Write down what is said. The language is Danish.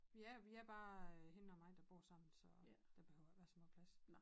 Ja vi er bare hende og mig der bor sammen så der behøver ikke være så meget plads